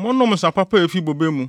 Monom nsa papa a efi bobe mu.